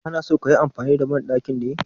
Ka na so ka yi amfani da banɗakin ne?